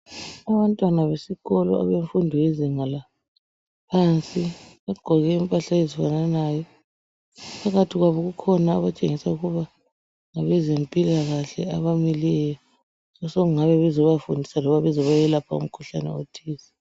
Abantwana besikolo abemfundo yezinga laphansi bagqoke impahla ezifananayo. Phakathi kwabo kukhona abatshengisa ukuba ngabezempilakahle abamileyo osokungabe bezobafundisa loba bezobayelapha umkhuhlane othize.